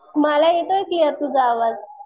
मला येतोय क्लिअर तुझा आवाज.